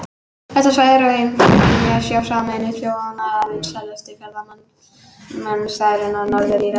Þetta svæði er á heimsminjaskrá Sameinuðu þjóðanna og einn vinsælasti ferðamannastaðurinn á Norður-Írlandi.